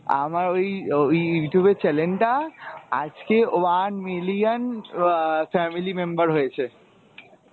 আমার ওই ওই Youtube এর channel টা আজকে one million আহ family member হয়েছে।